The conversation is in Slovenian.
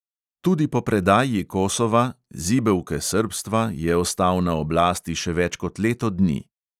Tudi po predaji kosova, zibelke srbstva, je ostal na oblasti še več kot leto dni.